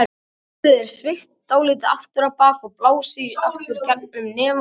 Höfuðið er sveigt dálítið aftur á bak og blásið í gegnum nef og munn.